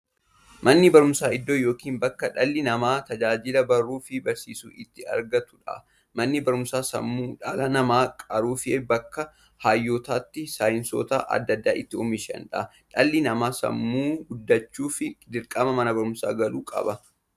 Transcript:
Manni barumsaa iddoo yookiin bakkee dhalli namaa tajaajila baruufi barsiisuu itti argatuudha. Manni barumsaa sammuu dhala namaa qaruufi bakka hayyootafi saayintistoota adda addaa itti oomishuudha. Dhalli namaa sammuun guddachuuf, dirqama mana barumsaa galuu qaba.